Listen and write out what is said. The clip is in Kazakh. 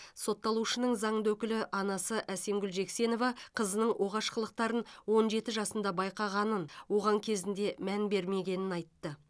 сотталушының заңды өкілі анасы әсемгүл жексенова қызының оғаш қылықтарын он жеті жасында байқағанын оған кезінде мән бермегенін айтты